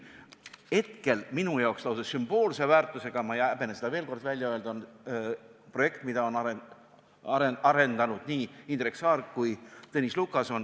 Hetkel on minu jaoks lausa sümboolse väärtusega – ma ei häbene seda veel kord välja öelda – projekt, mida on arendanud nii Indrek Saar kui ka Tõnis Lukas.